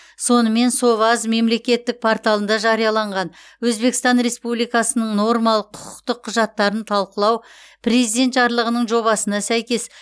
сонымен соваз мемлекеттік порталында жарияланған өзбекстан республикасының нормалық құқықтық құжаттарын талқылау президент жарлығының жобасына сәйкес